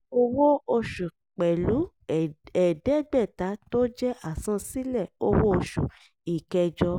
owó oṣù pẹ̀lú ẹ̀ẹ́dẹ́gbẹ̀ta tó jẹ́ àsansílẹ̀ owó-oṣù ìkẹjọ.